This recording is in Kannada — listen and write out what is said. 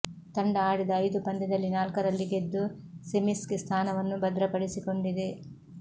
ತಂಡ ಆಡಿದ ಐದು ಪಂದ್ಯದಲ್ಲಿ ನಾಲ್ಕರಲ್ಲಿ ಗೆದ್ದು ಸೆಮಿಸ್ಗೆ ಸ್ಥಾನವನ್ನು ಭದ್ರಪಡಿಸಿಕೊಂಡಿದೆ